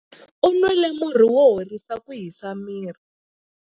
U nwile murhi wo horisa ku hisa miri.